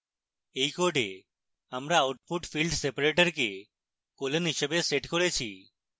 in code আমরা output field separator code colon হিসাবে set করেছি